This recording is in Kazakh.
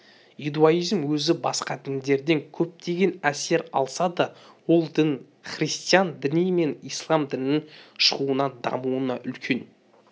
иудаизм өзі басқа діндерден көптеген әсер алса да ол дін христиан діні мен ислам дінінің шығуына дамуына үлкен